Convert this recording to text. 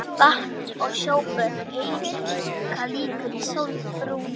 Vatns- og sjóböð auka líkur á sólbruna.